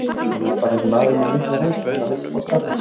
Hann er ekki bara maður með mikla reynslu, hann vill fá starfið.